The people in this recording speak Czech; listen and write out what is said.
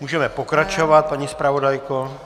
Můžeme pokračovat, paní zpravodajko.